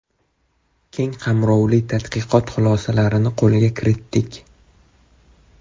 Keng qamrovli tadqiqot xulosalarini qo‘lga kiritdik.